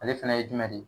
Ale fana ye jumɛn de ye